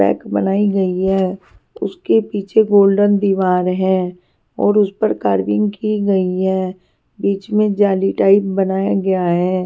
Pack बनाई गई है उसके पीछे गोल्डन दीवार है और उस पर कार्विंग की गई है बीच में जाली टाइप बनाया गया है.